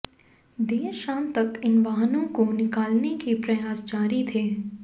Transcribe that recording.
देर शाम तक इन वाहनों को निकालने के प्रयास जारी थे